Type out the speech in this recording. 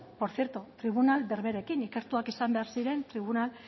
por zierto tribunal berberekin ikertuak izan behar ziren tribunal